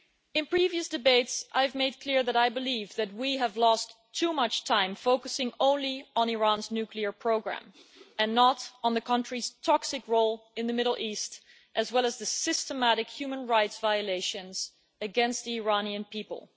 In previous debates, I have made clear that I believe that we have lost too much time focusing only on Iran's nuclear programme and not on the country's toxic role in the Middle East as well as the systematic human rights violations against the Iranian people.